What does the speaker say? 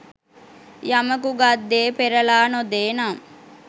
යමකු ගත් දේ පෙරළා නො දේ නම්